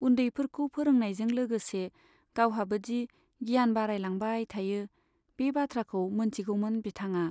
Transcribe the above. उन्दैफोरखौ फोरोंनायजों लोगोसे गावहाबोदि गियान बारायलांबाय थायो, बे बाथ्राखौ मोनथिगौमोन बिथांआ।